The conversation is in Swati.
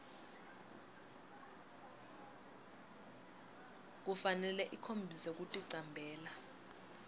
kufanele ikhombise kuticambela